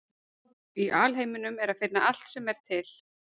Í alheiminum er að finna allt sem er til.